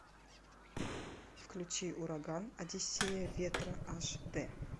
включи ураган одиссея ветра аш д